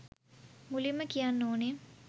මුලින්ම කියන්න ඕනේ